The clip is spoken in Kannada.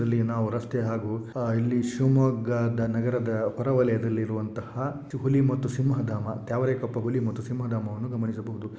ಇಲ್ಲಿ ನಾವು ರಸ್ತೆ ಹಾಗು ಹಾ ಇಲ್ಲಿ ಶಿವಮೊಗ್ಗದ ನಗರದ ಹೊರಹೊಲಯದಲ್ಲಿರುವಂತಹ ಹುಲಿ ಮತ್ತು ಸಿಂಹಧಾಮ ತ್ಯಾವರೆಕೊಪ್ಪ ಹುಲಿ ಮತ್ತು ಸಿಂಹಧಾಮವನ್ನು ಗಮನಿಸಬಹುದು.